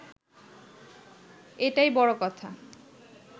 এটাই বড় কথা